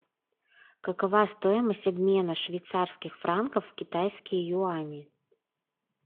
какова стоимость обмена швейцарских франков в китайские юани